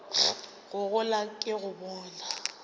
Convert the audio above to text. go gola ke go bona